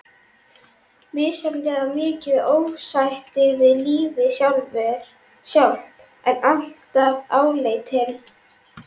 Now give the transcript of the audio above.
Misjafnlega mikið ósætti við lífið sjálft, en alltaf áleitinn.